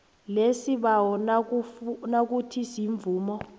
lesibawo nayikuthi imvumo